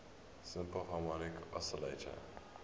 simple harmonic oscillator